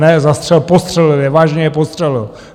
Ne zastřelil, postřelil je, vážně je postřelil.